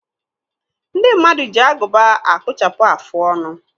Ndị mmadụ ji agụba a kpụchapụ afụ ọnụ.